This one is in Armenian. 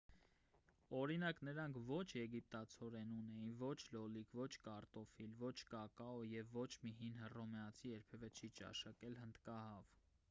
օրինակ նրանք ոչ եգիպտացորեն ունեին ոչ լոլիկ ոչ կարտոֆիլ ոչ կակաո և ոչ մի հին հռոմեացի երբևէ չի ճաշակել հնդկահավ